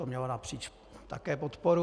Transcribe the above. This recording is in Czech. To mělo napříč také podporu.